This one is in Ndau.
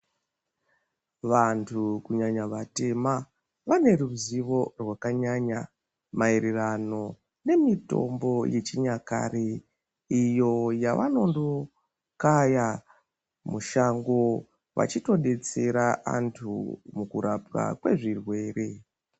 Vantu kunyanya vatema vane ruzivo rwakanyanya maererano nemitombo yechinyakare iyo yavanondokaya mushango vachitodetsera antu mukurapwa kwezvirwere.